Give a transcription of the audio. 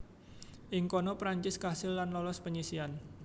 Ing kono Prancis kasil lan lolos penyisihan